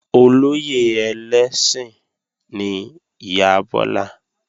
Olóyè ẹlẹ́sìn ni ìyá Bọ́lá